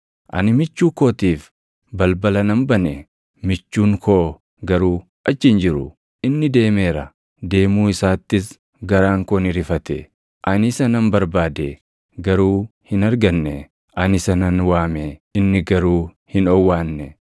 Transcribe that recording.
Ani michuu kootiif balbala nan bane; michuun koo garuu achi hin jiru; inni deemeera. Deemuu isaattis garaan koo ni rifate. Ani isa nan barbaade; garuu hin arganne. Ani isa nan waame; inni garuu hin owwaanne.